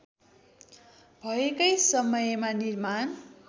भएकै समयमा निर्माण